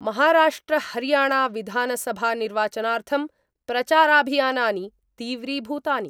महाराष्ट्रहरियाणाविधानसभानिर्वाचनार्थं प्रचाराभियानानि तीव्रीभूतानि।